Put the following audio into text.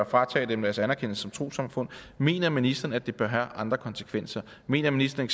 fratage dem deres anerkendelse som trossamfund mener ministeren at det bør have andre konsekvenser mener ministeren